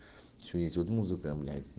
ещё есть вот музыка блять